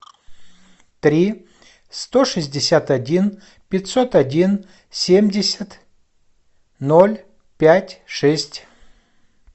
три сто шестьдесят один пятьсот один семьдесят ноль пять шесть